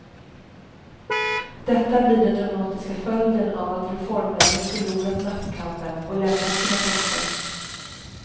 Detta blir den dramatiska följden av att reformmännen förlorat maktkampen och lämnat sina poster.